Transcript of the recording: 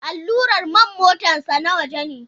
Allurar man motarsa ​​na waje ne.